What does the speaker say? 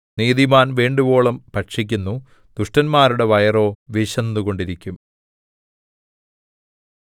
നീതിമാൻ വേണ്ടുവോളം ഭക്ഷിക്കുന്നു ദുഷ്ടന്മാരുടെ വയറോ വിശന്നുകൊണ്ടിരിക്കും